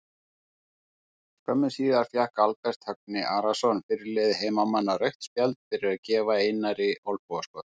Skömmu síðar fékk Albert Högni Arason fyrirliði heimamanna rautt spjald fyrir að gefa Einari olnbogaskot.